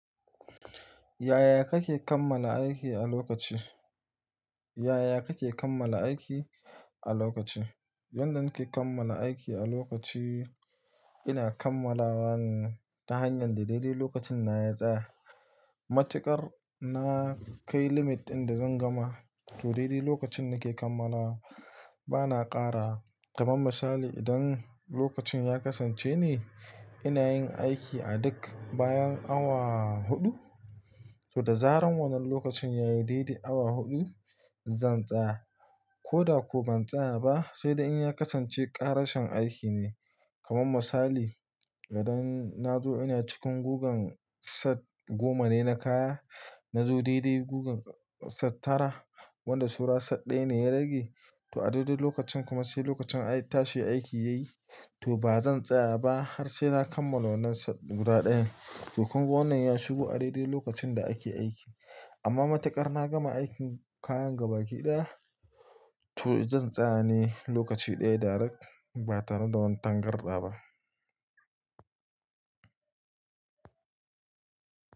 Yaya kake kammala aiki a lokaci? Yaya kake kammala aiki a lokaci? Yanda nake kammala aiki a lokaci, ina kammalawa ta hanyar daidai lokacin na ya tsaya. Matuƙar na kai limit inda zan gama, to daidai lokacin nake kammala bana ƙara. Kaman misali, idan lokacin ya kasance ne ina yin aiki a duk bayan awa huɗu, to da zaran wannan lokacin yayi daidai awa huɗu zan tsaya. Ko da ko ban tsaya ba, sai da in ya kasance ƙarashen aiki ne. Kaman misali, idan na zo ina cikin gugan set goma ne na kaya, na zo daidai gugan set tara wanda saura set ɗaya ne ya rage, to a daidai lokacin kuma sai lokacin tashi aiki yayi to ba zan tsaya ba har sai na kammala wannan set guda ɗaya. To kuma wannan ya shigo a daidai lokacin da ake aiki. Amma matuƙar na gama aikin kayan gabaki ɗaya, to zan tsaya ne lokaci ɗaya direct ba tare da wani tangarɗawa ba.